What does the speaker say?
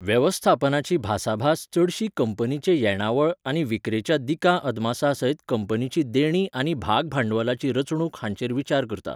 वेेवस्थापनाची भासाभास चडशी कंपनीचे येणावळ आनी विक्रेच्या दिकां अदमासां सयत कंपनीची देणीं आनी भागभांडवलाची रचणूक हांचेर विचार करता.